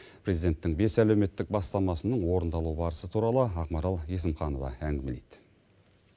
президенттің бес әлеуметтік бастамасының орындалу барысы туралы ақмарал есімханова әңгімелейді